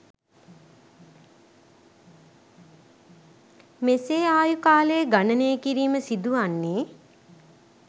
මෙසේ ආයු කාලය ගණනය කිරීම සිදුවන්නේ